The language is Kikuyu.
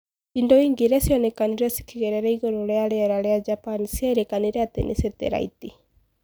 Indo inge iria cionekanire cikigerera igũrũ ria riera ria Japan cierikanire ati ni setelaiti.